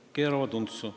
Nad keeravad asja untsu.